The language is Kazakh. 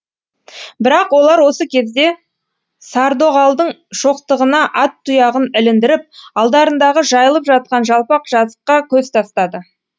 бірақ олар осы кезде сардоғалдың шоқтығына ат тұяғын іліндіріп алдарындағы жайылып жатқан жалпақ жазыққа көз тастады